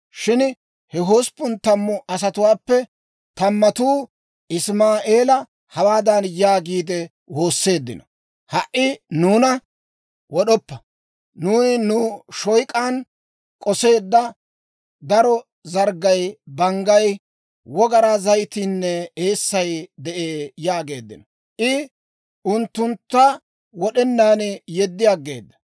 Shin he hosppun tammu asatuwaappe tammatuu Isimaa'eela hawaadan yaagiide woosseeddino; «Ha"i nuuna wod'oppa! Nuuni nu shoyk'an k'oseedda daro zarggay, banggay, wogaraa zayitiinne eessay de'ee» yaageeddino. I unttunttu wod'enaan yeddi aggeeda.